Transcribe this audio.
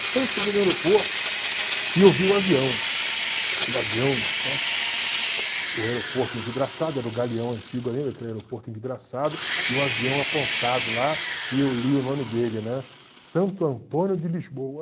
Então eu cheguei no aeroporto e eu vi o avião, aquele avião, né, o aeroporto envidraçado, era o galeão antigo ainda, aquele aeroporto envidraçado, e o avião apontado lá, e eu li o nome dele, né, Santo Antônio de Lisboa